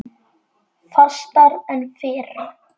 Fastar en fyrr.